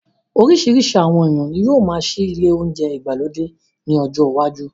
Orísirísi àwọn èèyàn ní yóó máa ṣí ile ounjẹ ìgbàlódé ní ọjọ iwájú